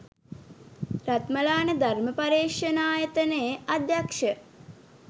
රත්මලාන ධර්ම පර්යේෂණායතනයේ අධ්‍යක්ෂ